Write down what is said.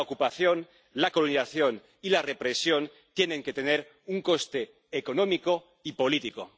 La ocupación, la colonización y la represión tienen que tener un coste económico y político.